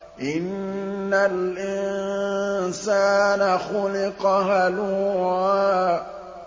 ۞ إِنَّ الْإِنسَانَ خُلِقَ هَلُوعًا